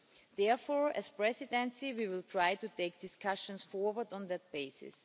Therefore, as the Presidency, we will try to take discussions forward on that basis.